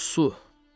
Su.